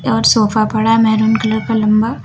और सोफा पड़ा है मैरून कलर का लम्बा।